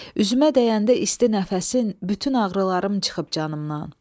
Üzümə dəyəndə isti nəfəsin, bütün ağrılarım çıxıb canımdan.